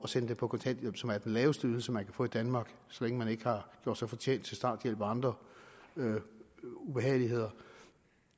sende dem på kontanthjælp som er den laveste ydelse man kan få i danmark så længe man ikke har gjort sig fortjent til starthjælp og andre ubehageligheder